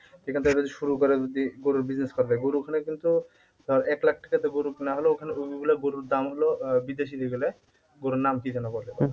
সেখান থেকে যদি শুরু করে যদি গরুর দুধের business করা যায় গরু ওখানে কিন্তু আহ এক লাখ থেকে তো গরু কিনা হলো ওখানে গরুর দাম হল আহ বিদেশি যেগুলা গরুর নাম কি যেন বলে